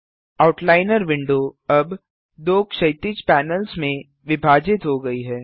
outliner window अब दो क्षैतिज पैनल्स में विभाजित हो गई है